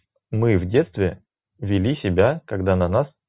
мы в детстве вели себя когда на нас